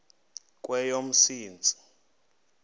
kweyomsintsi